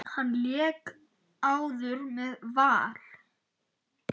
Hann lék áður með Val.